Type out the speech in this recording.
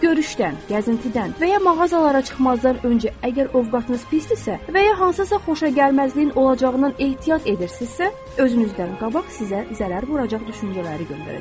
Görüşdən, gəzintidən və ya mağazalara çıxmazdan öncə, əgər ovqatınız pisdirsə, və ya hansısa xoşagəlməzliyin olacağından ehtiyat edirsinizsə, özünüzdən qabaq sizə zərər vuracaq düşüncələri göndərəcəksiniz.